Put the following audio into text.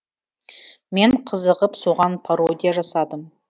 мен қызығып соған пародия жасадым